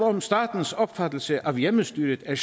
om statens opfattelse af hjemmestyret er